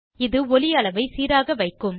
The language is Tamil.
இது ஒலி அளவை சீராக வைக்கும்